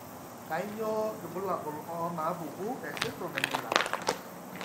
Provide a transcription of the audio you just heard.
Kainyio irbulabul onaapuku esindirom eMiller?